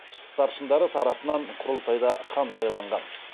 старшындары тарапынан құрылтайда хан сайланған